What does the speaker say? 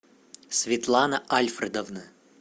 светлана альфредовна